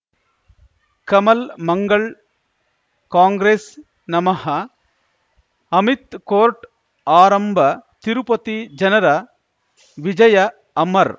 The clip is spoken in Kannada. ಕಮಲ್ ಮಂಗಳ್ ಕಾಂಗ್ರೆಸ್ ನಮಃ ಅಮಿತ್ ಕೋರ್ಟ್ ಆರಂಭ ತಿರುಪತಿ ಜನರ ವಿಜಯ ಅಮರ್